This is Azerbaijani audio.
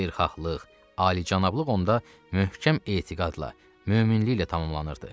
Xeyirxahlıq, alicənablıq onda möhkəm etiqadla, möminliklə tamamlanırdı.